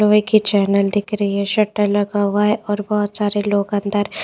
लोहे के चैनल दिख रही है शटर लगा हुआ है और बहोत सारे लोग अंदर--